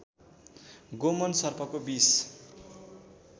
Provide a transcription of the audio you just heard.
गोमन सर्पको विष